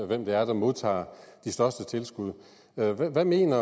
hvem det er der modtager de største tilskud hvad mener